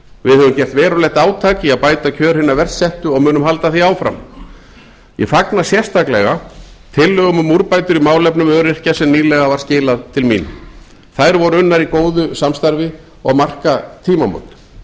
við höfum gert verulegt átak í að bæta kjör hinna verst settu og munum halda því áfram ég fagna sérstaklega tillögum um úrbætur í málefnum öryrkja sem nýlega var skilað til mín þær voru unnar í góðu samstarfi og marka tímamót gáum